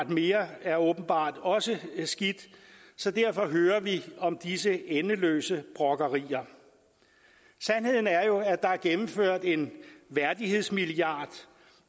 mere er åbenbart også skidt så derfor hører vi disse endeløse brokkerier sandheden er jo at der er tilført en værdighedsmilliard